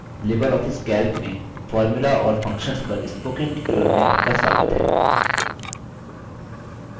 Libre Office calc में formula और functions पर spoken tutorial में आपका स्वगात है